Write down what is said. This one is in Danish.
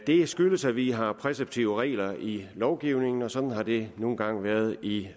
det skyldes at vi har præceptive regler i lovgivningen og sådan har det nu engang været i